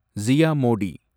Zia Modi